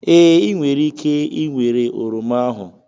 Ee, ị nwere ike ịnwere oroma ahu